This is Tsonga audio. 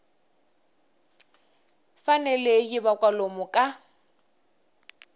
fanele yi va kwalomu ka